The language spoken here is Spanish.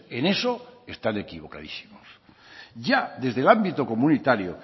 en eso están equivocadísimos ya desde el ámbito comunitario